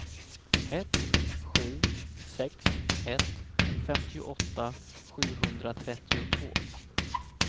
ett sju sex ett femtioåtta sjuhundratrettiotvå